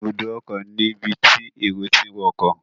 Ibùdókọ̀ ni ibi tí èrò tí ń wọkọ̀.